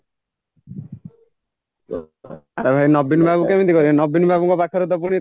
ଆରେ ଭାଇ ନବୀନ ବାବୁ କେମିତି କହିବେ ନବୀନ ବାବୁଙ୍କ ପାଖରେତ ପୁଣି